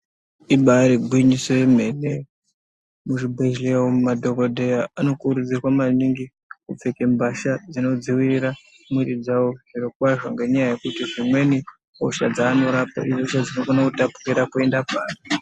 Ibari ngwinyiso yemene muzvibhedhleya umu madhogodheya anokurudzirwa maningi kupfeke mbasha dzinodzivirira mwiri dzavo. Zvirokwazvo ngenyaya yekuti zvimweni hosha dzanorapa ihosha dzinokona kutapukira kuenda paari .